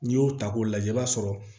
N'i y'o ta k'o lajɛ i b'a sɔrɔ